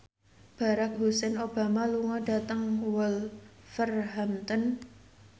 Barack Hussein Obama lunga dhateng Wolverhampton